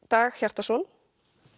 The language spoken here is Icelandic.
Dag Hjartarson